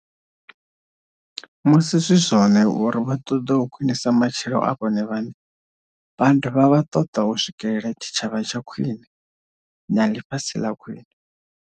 Musi zwi zwone uri vha ṱoḓa u khwinisa matshilo a vhone vhaṋe, vha dovha vha ṱoḓa u swikela tshitshavha tsha khwine na ḽifhasi ḽa khwine.